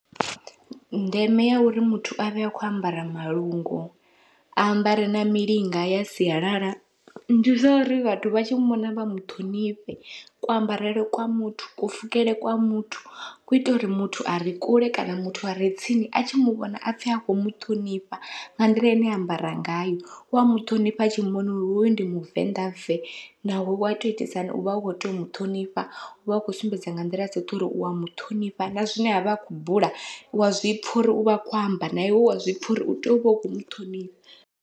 Ndeme ya uri muthu avhe a khou ambara malungu a ambare na milinga ya sialala, ndi zwa uri vhathu vha tshi muvhona vha muṱhonifhe, ku ambarele kwa muthu ku pfhukele kwa muthu ku ita uri muthu a re kule kana muthu a re tsini, a tshi muvhona apfhe akho muṱhonifha nga nḓila ine a ambara ngayo wa muṱhonifha atshi muvhona hoyu ndi muvenḓa ve, naho wa to itisa hani uvha u kho tea u muṱhonifha uvha u khou sumbedza nga nḓila dzoṱhe uri u wa muṱhonifha na zwine avha akhou bula wa zwipfha uri uvha a kho amba, na iwe wa zwipfha uri u tea uvha u kho muṱhonifha.